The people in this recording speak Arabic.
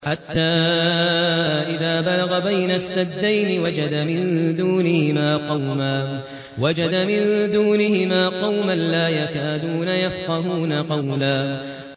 حَتَّىٰ إِذَا بَلَغَ بَيْنَ السَّدَّيْنِ وَجَدَ مِن دُونِهِمَا قَوْمًا لَّا يَكَادُونَ يَفْقَهُونَ قَوْلًا